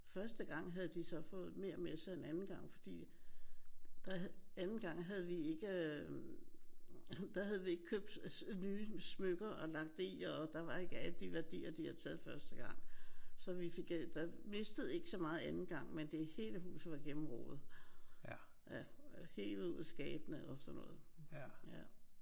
Første gang havde de så fået mere med sig end anden gang fordi der havde anden gang havde vi ikke øh der havde vi ikke købt nye smykker og lagt det i og der var ikke alle de værdier de havde taget første gang. Så vi fik ikke der mistede så meget anden gang men det hele huset var gennemrodet. Ja hevet ud i skabene og sådan noget